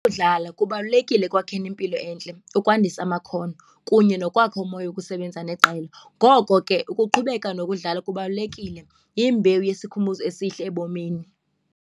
Ukudlala kubalulekile ekwakheni impilo entle ukwandisa amakhono kunye nokwakha umoya wokusebenza neqela. Ngoko ke ukuqhubeka nokudlala kubalulekile, yimbewu yesikhumbuzo esihle ebomini.